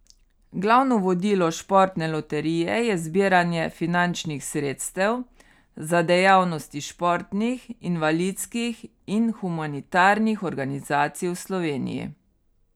Glavno vodilo Športne loterije je zbiranje finančnih sredstev za dejavnosti športnih, invalidskih in humanitarnih organizacij v Sloveniji.